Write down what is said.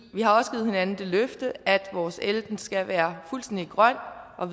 vi har også givet hinanden det løfte at vores el skal være fuldstændig grøn og